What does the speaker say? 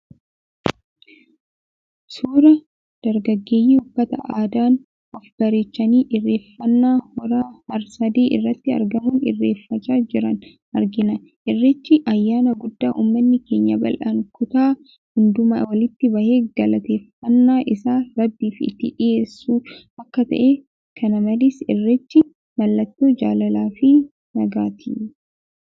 Suuraa dargaggeeyyii uffata aadaan of bareechanii irreeffannaa hora har-sadee irratti argamuun irreeffachaa jiranii argina. Irreechi, ayyaana guddaa ummanni keenya bal'aan kutaa hundumaa walitti bahee galateeffannaa isaa rabbiif itti dhiyeessu akka ta'e kanamalees irreechi mallattoo jaalalaa fi nagaati.